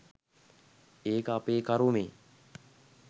ඒක අපේ කරුමෙ